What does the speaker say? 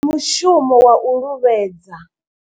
Ndi mushumo wa u luvhedza.